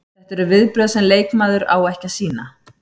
Þetta eru viðbrögð sem leikmaður á ekki að sýna.